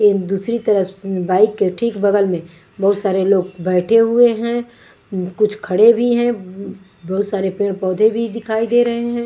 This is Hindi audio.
ए दूसरी तरफ बाइक के ठीक बगल में बहुत सारे लोग बैठे हुए हैं कुछ खड़े भी हैं उम बहुत सारे पेड़-पौधे भी दिखाई दे रहे हैं।